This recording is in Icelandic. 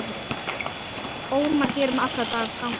ómar hér um alla ganga.